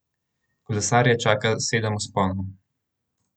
Kolesarje čaka sedem vzponov.